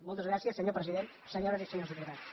moltes gràcies senyor president senyores i senyors diputats